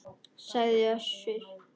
sagði Össur.